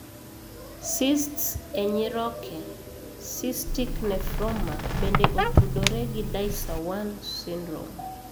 Cysts e nyiroke (cystic nephroma) bende otudore gi DICER1 syndrome.